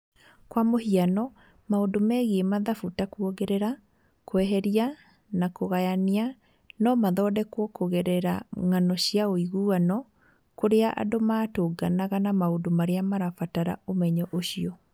Kwa mũhiano, maũndũ megiĩ mathabu ta kũongerera, kweheria na kũgayania no mathondekwo kũgerera ng'ano cia ũiguano kũrĩa andũ matũnganaga na maũndũ marĩa marabatara ũmenyo ũcio.